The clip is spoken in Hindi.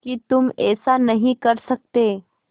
कि तुम ऐसा नहीं कर सकते